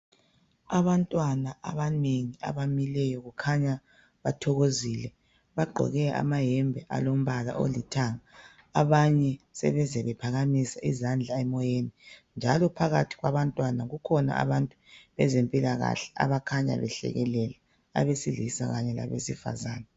Abantwana abanengi abamileyo kukhanya bathokozile bagqoke amayembe alombala olithanga abanye sebeze bephakamisa izandla emoyeni njalo phakathi kwabantwana kukhona abantu bezempilakahle abakhanya behlekelela abesilisa kanye labesifazana.